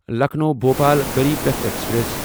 Lucknow Bhopal Garib Rath express